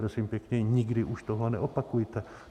Prosím pěkně, nikdy už tohle neopakujte.